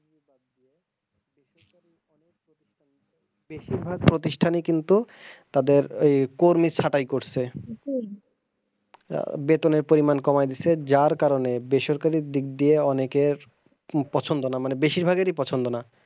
বেশিরভাগ প্রতিষ্ঠানই কিন্তু তাদের আহ কর্মী ছাঁটাই করছে আহ বেতনের পরিমান কমাই দিছে যার কারনে বেসরকারি দিক দিয়ে অনেকের পছন্দ না মানে বেশিরভাগই পছন্দ না।